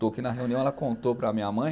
que na reunião ela contou para a minha mãe